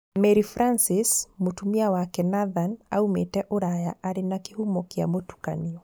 Mary Francis, mũtumia wake Nathan aumĩte ũraya, arĩ wa kĩhumo gĩa mũtukanio.